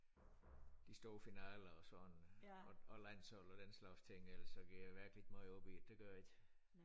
De store finaler og sådan og og landsholdet og den slags ting ellers går jeg virkelig ikke måj op i det det gør jeg ikke